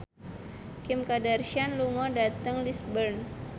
Kim Kardashian lunga dhateng Lisburn